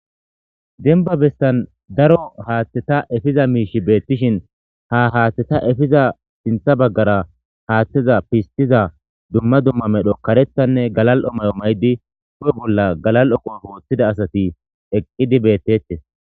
Denba besan daro haththeta efiza mishshi betishe ha haththata efiza sinta bagara haththataza fistiza dumma dumma medho karetane galal'o mayo mayidi hophe bola galol'o qophe wotida asati eqidi betetes.